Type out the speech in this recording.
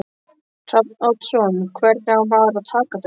Hrafn Oddsson Hvernig á maður að taka þessu?